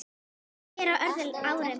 Ég er á öðru ári.